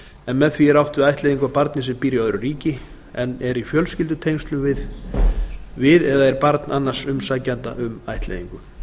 en með því er átt við ættleiðingu á barni sem býr í öðru ríki en er í fjölskyldutengslum við eða er barn annars umsækjanda um ættleiðingu